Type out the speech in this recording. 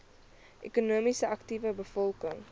ekonomies aktiewe bevolking